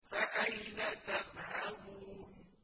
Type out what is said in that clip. فَأَيْنَ تَذْهَبُونَ